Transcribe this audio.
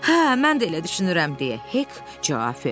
Hə, mən də elə düşünürəm, deyə Hek cavab verdi.